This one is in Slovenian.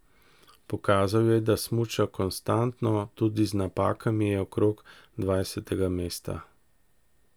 Pokazal je, da smuča konstantno, tudi z napakami je okrog dvajsetega mesta.